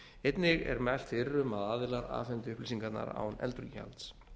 einnig er mælt fyrir um að aðilar afhendi upplýsingarnar án endurgjalds